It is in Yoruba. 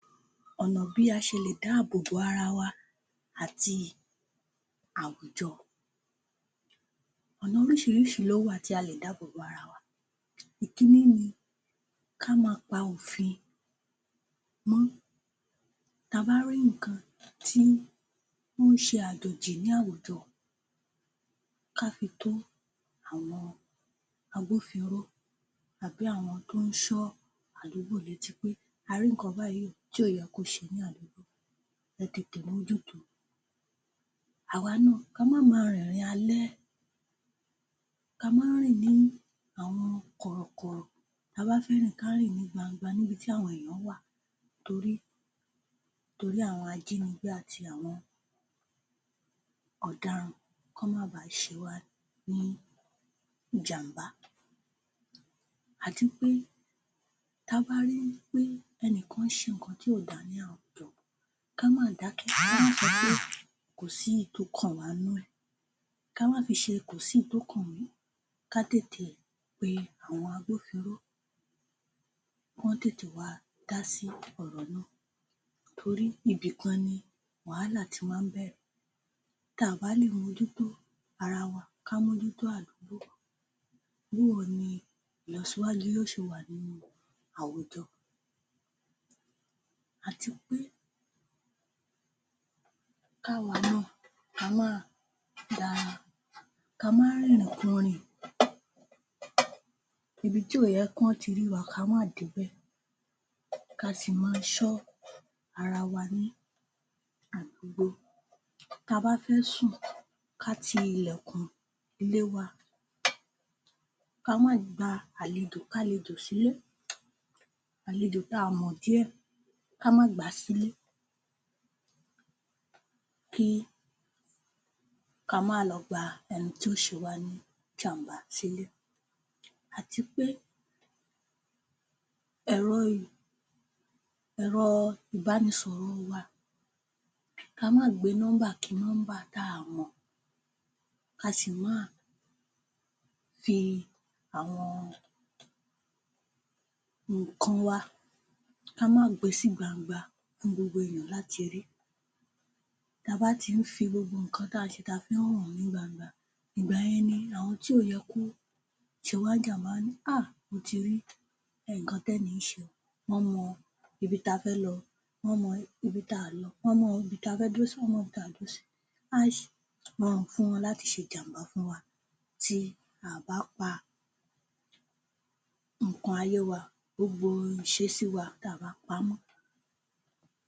Ọ̀nà bí a ṣe lè dáàbòbo ara wa àti àwùjọ. Ọ̀nà oríṣiríṣi ló wà tí a lè dáàbòbo ara wa. Ìkínní ni ká ma pa òfin mọ́. Ta bá ri nǹkan tí ó ń ṣe àjòjì ní àwùjọ ká fi tó àwọn agbófinró tàbí àwọn tó ń ṣọ́ àdúgbò létí pé a rí nǹkan báyìí o tí ò yẹ kó ṣẹlẹ̀ ní àdúgbò. Ẹ tètè mójúto. Àwa náà ka má ma rìnrìn àlẹ́ ka má rìn ní àwọn kọ̀rọ̀kọ̀rọ̀. Ta bá fẹ́ rìn, ká rìn ní gbangba níbi tí àwọn èèyàn wa torí torí àwọn ajínigbé àti àwọn ọ̀daràn, kán má bá ṣe wá ní ìjàmbá. Àti pé ta bá rí wí pé ẹnìkan ṣe nǹkan tí ò dá ní àwùjọ, ká má dákẹ́, ká má sọ pé kò sí ìyí tó kàn wá nú ẹ̀. Ká má fi ṣe kò sí ìyí tó kàn mí. Ká tètè pé àwọn agbófinró, kán tètè wá dá sí ọ̀rọ̀ náà torí ibìkan ni wàhálà ti máa ń bẹ̀rẹ̀. Táà bá lè mójútó ara wa, ká mójútó àdúgbò bóò ni ìlọsíwájú yóò ṣe wà nínú àwùjọ. Àti pé ká wa náà ka máa da, ka má rìnrìnkurìn. Ibi tí ò yẹ kíwọ́n ti rí wa, ka má débẹ̀ ka sì ma ṣọ́ ara wa ní àdúgbò. Ta bá fẹ́ sùn, ká ti ilẹ̀kùn ilé wa. Ka má gba àlejòkálejò sílé. Àlejò táa mọ̀ díẹ̀, ká má gbàá sílé kí ka má lọ gba ẹni tí ó ṣe wá ní ìjàmbá sílé. Àti pé ẹ̀rọ ẹ̀rọ-ìbánisọ̀rọ̀ wa ka má gbé nọ́mbà kí nọ́mbà táà mọ̀ ka sì máa fi àwọn nǹkan wa, ká má gbe sí gbangba fún gbogbo èèyàn láti rí. Ta bá tí ń fi gbogbo nǹkan tá ǹ ṣe ta fí ń hàn ní gbangba, ìgbà yẹn ni àwọn tí ò yẹ kó ṣe wá ń jàmbá wọ́n á ní um mo ti rí nǹkan tẹ́ni yìí ń ṣe wọ́n mọ ibi ta fẹ́ lọ, wọ́n mọ ibi tá o lọ, wọ́n mọ ibi tá fẹ́ dúró sí, wọ́n mọ ibi ta ò dúró sí. Á rọrùn fún wọn láti ṣe ìjàmbá fún wa tí a bá pa nǹkan ayé wa, gbogbo ìṣesí wa, táà bá pamọ́.